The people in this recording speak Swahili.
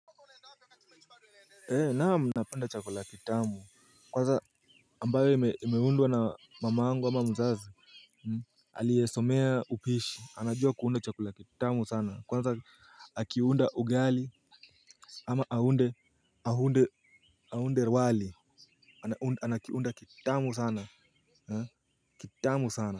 Naam napenda chakula kitamu kwanza ambayo imeundwa na mamangu ama mzazi aliyesomea upishi anajua kuunda chakula kitamu sana kwanza akiunda ugali ama aunde aunde aunde wali anakiunda kitamu sana kitamu sana.